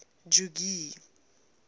jogee